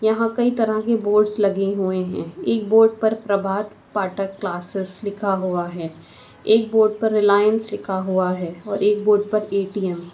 यहां कई तरह के बोर्ड्स लगे हुए हैं एक बोर्ड पर प्रभात पाठक क्लासेस लिखा हुआ है एक बोर्ड पर रिलायंस लिखा हुआ है और एक बोर्ड पर ए_टी_एम ।